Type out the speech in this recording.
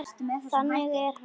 Þannig er hann.